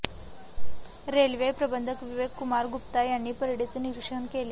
railway प्रबंधक विवेक कुमार गुप्ता यांनी परेडचे निरिक्षण केले